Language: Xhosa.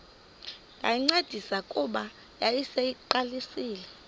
ndayincedisa kuba yayiseyiqalisile